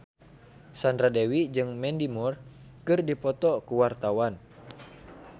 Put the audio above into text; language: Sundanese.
Sandra Dewi jeung Mandy Moore keur dipoto ku wartawan